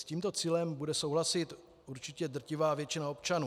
S tímto cílem bude souhlasit určitě drtivá většina občanů.